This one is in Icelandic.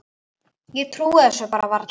Ég trúi þessu bara varla.